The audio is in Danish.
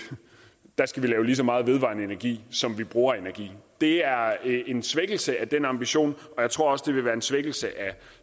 skal lave lige så meget vedvarende energi som vi bruger energi det er en svækkelse af den ambition og jeg tror også det vil være en svækkelse af